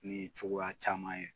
Ni cogoya caman ye.